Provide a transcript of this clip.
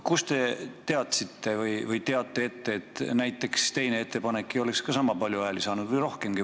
Kuidas te ette teadsite, et näiteks teine ettepanek ei oleks ka sama palju või rohkemgi hääli saanud?